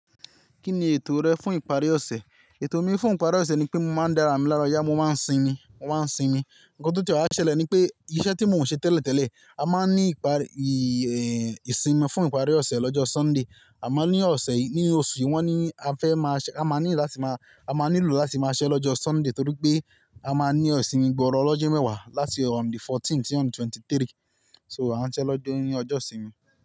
Kí ni ètò rẹ fún ìparí ọ̀sẹ̀? Ètò mi fún ìparí ọ̀sẹ̀ ni pé mo máa ń dára mi lára ọ̀yà, mo máa ń sinmi, mo máa ń sinmi. Ǹkan tó ti wá ṣẹlẹ̀ ni pé iṣẹ́ tí mo ń ṣe tẹ́lẹ̀ tẹ́lẹ̀ a máa ń ní ìparí, ìsìnmi fún ìparí ọ̀sẹ̀ lọ́jọ́ Sunday. A máa ní ọ̀sẹ̀ yìí, ní oṣù yìí, wọ́n ní a fẹ́ máa ṣẹ, a máa ní láti máa, a máa nílò láti máa ṣiṣẹ́ lọ́jọ́ Sunday torí pé a máa ní ìsinmi gbọọrọ olọ́jọ́ mẹ́wàá láti on the fourteenth sí on the twenty-three. So a ń ṣẹ́ lọ́jọ́ ní ọjọ́ ìsinmi.